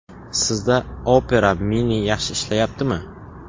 Sizda Opera Mini yaxshi ishlayaptimi?